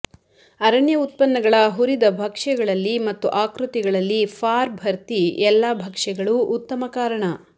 ಅರಣ್ಯ ಉತ್ಪನ್ನಗಳ ಹುರಿದ ಭಕ್ಷ್ಯಗಳಲ್ಲಿ ಮತ್ತು ಆಕೃತಿಗಳಲ್ಲಿ ಫಾರ್ ಭರ್ತಿ ಎಲ್ಲಾ ಭಕ್ಷ್ಯಗಳು ಉತ್ತಮ ಕಾರಣ